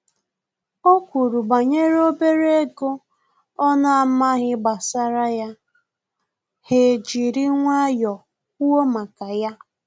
O kwuru banyere obere ego ọ na-amaghị gbasara ya, ha ejiri nwayọọ kwụọ maka ya